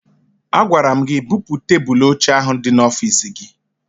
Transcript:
Agwara m gị bupu tebụlụ ochie ahụ dị n'ọfiisi gị!